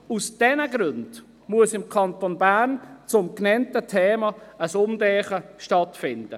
Aus diesen Gründen muss im Kanton Bern ein Umdenken stattfinden.